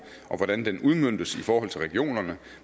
og hvordan den udmøntes i forhold til regionerne